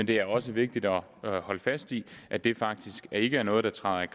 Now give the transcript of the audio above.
det er også vigtigt at holde fast i at det faktisk ikke er noget der træder i